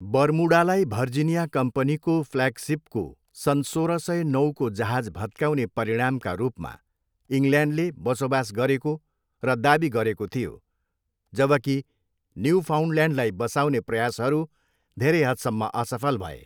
बर्मुडालाई भर्जिनिया कम्पनीको फ्ल्यागसिपको सन् सोह्र सय नौको जहाज भत्काउने परिणामका रूपमा इङ्ल्यान्डले बसोबास गरेको र दावी गरेको थियो, जबकि न्युफाउन्डल्यान्डलाई बसाउने प्रयासहरू धेरै हदसम्म असफल भए।